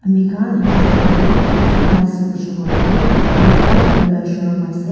ami khan etu photo te ki dikhi pai ase kuishe kuile toh etu ekta gari la showroom ase.